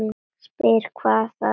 Spyr hvað það megi vera.